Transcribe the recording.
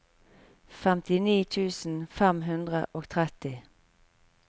femtini tusen fem hundre og tretti